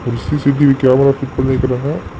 ஒரு CCTV camera fit பண்ணிருக்றாங்க.